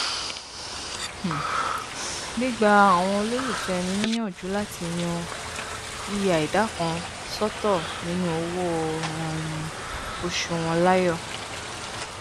um gbígba àwọn olólùfẹ ẹni níyànjú láti yan yíya ìdá kan sọtọ nínú owó um oṣù wọn láàyò